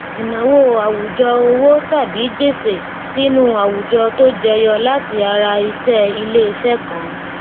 ìnáwó àwùjọ owó tàbí gbèsè sínú àwùjọ tó jẹyọ láti ara iṣẹ ilé iṣẹ kan